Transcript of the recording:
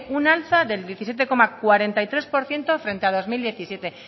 un alza del diecisiete coma cuarenta y tres por ciento frente a bi mila hamazazpi